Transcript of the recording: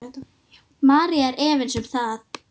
María er efins um það.